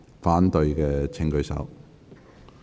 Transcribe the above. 反對的請舉手。